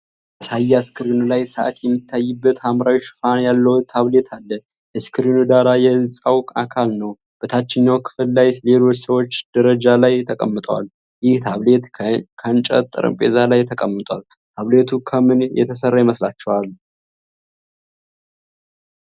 ማሳያ ስክሪኑ ላይ ሰዓት የሚታይበት ሐምራዊ ሽፋን ያለው ታብሌት አለ። የስክሪኑ ዳራ የህጻን አካል ነው፣ በታችኛው ክፍል ላይ ሌሎች ሰዎች ደረጃ ላይ ተቀምጠዋል። ይህ ታብሌት ከእንጨት ጠረጴዛ ላይ ተቀምጧል፣ ታብሌቱ ከምን የተሰራ ይመስላችኋል?